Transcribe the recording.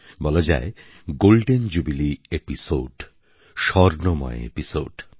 বলা যায় golden jubilee episode স্বর্ণময় এপিসোড